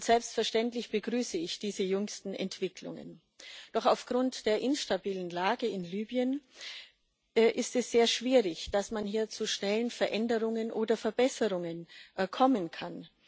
Selbstverständlich begrüße ich diese jüngsten Entwicklungen. Doch aufgrund der instabilen Lage in Libyen ist es sehr schwierig, dass man hier zu schnellen Veränderungen oder Verbesserungen kommen kann.